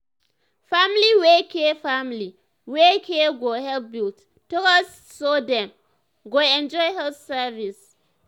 family wey care family wey care go help build um trust so dem um go enjoy health service.